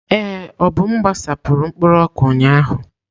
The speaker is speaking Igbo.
Ee, Obum gbasapụrụ mkpụrụ ọka ụnyahụ.